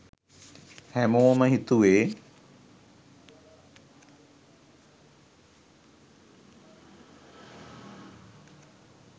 හැමෝම හිතුවේ